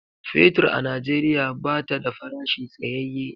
Fetur a Najeriya bata da farashi tsayaye.